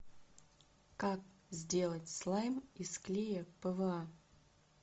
как сделать слайм из клея пва